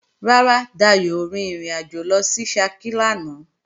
Rárá, Dayò ò rin ìrìnàjò lọ sí Ṣakí lánàá